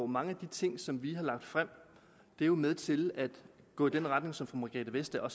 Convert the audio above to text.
mange af de ting som vi har lagt frem er med til at gå i den retning som fru margrethe vestager